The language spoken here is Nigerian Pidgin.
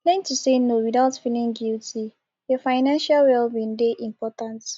learn to say no without feeling guilty your financial well being dey important